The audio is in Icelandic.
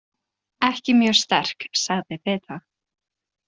Ekki mjög sterk, sagði Beata.